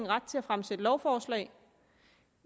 ret til at fremsætte lovforslag